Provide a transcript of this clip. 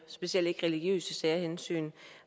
specielt ikke religiøse særhensyn